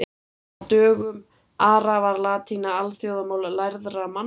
á dögum ara var latína alþjóðamál lærðra manna